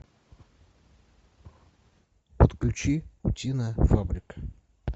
подключи утиная фабрика